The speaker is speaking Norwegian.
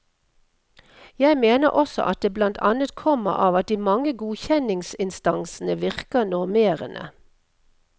Jeg mener også at det blant annet kommer av at de mange godkjenningsinstansene virker normerende.